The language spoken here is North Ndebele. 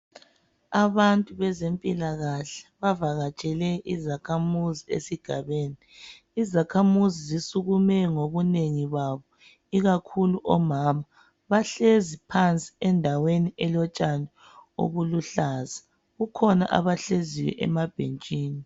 Abantu bezempilakahle bavakatshele izakhamuzi esigabeni. Izakhamuzi zisukume ngobunengi babo ikakhulu omama. Bahlezi phansi endaweni elotshani obuluhlaza. Kukhona abahleziyo emabhentshini.